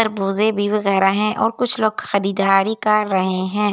खरबूजे भी वगैरा हैं और कुछ लोग खरीदारी कर रहे हैं।